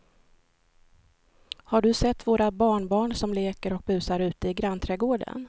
Har du sett våra rara barnbarn som leker och busar ute i grannträdgården!